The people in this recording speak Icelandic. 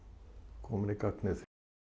kominn í gagnið